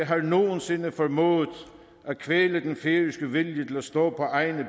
har nogensinde formået at kvæle den færøske vilje til at stå på egne